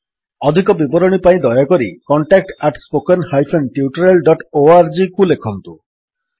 ଅଧିକ ବିବରଣୀ ପାଇଁ ଦୟାକରି contact at spoken hyphen tutorial dot org contactspoken tutorialଓଆରଜିକୁ ଲେଖନ୍ତୁ